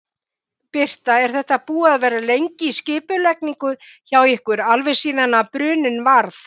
Birta: Er þetta búið að vera lengi í skipulagningu hjá ykkur, alveg síðan bruninn varð?